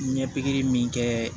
Ɲɛpiye min kɛ